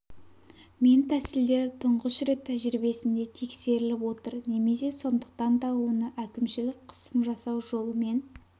мен тәсілдері тұңғыш рет тәжірибесінде тексеріліп отыр немесе сондықтан да оны әкімшілік қысым жасау жолымен